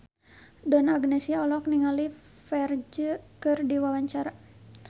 Donna Agnesia olohok ningali Ferdge keur diwawancara